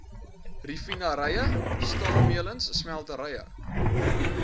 raffinaderye staalmeulens smelterye